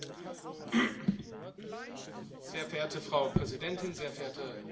Frau Präsidentin, sehr verehrte Frau Hohe Vertreterin, meine sehr geehrten Damen und Herren!